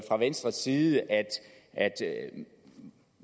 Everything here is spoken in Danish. fra venstres side at